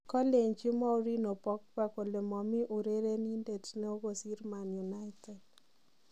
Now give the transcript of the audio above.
Kolenji Mourinho Pogba kole momii urerindet neo kosir Man United.